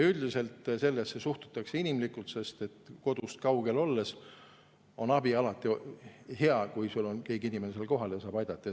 Üldiselt sellesse suhtutakse inimlikult, sest kodust kaugel olles on alati hea, kui on keegi inimene seal kohal ja saab aidata.